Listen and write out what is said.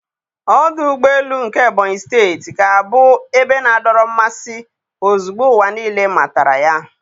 Ọdụ ụgbọ elu nke Ebonyị steeti ga-abụ ebe na-adọrọ mmasị ozugbo ụwa niile matara ya.